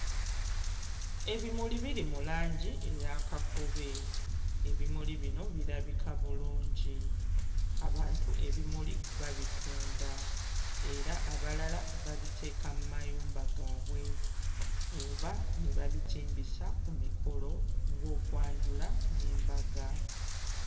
Ebimuli biri mu langi eya kakobe, ebimuli bino birabika bulungi, abantu ebimuli babitunda era abalala babiteeka mmayumba gaabwe oba ne babitimbisa ku mikolo ng'okwanjula n'embaga.